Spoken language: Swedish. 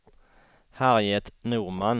Harriet Norman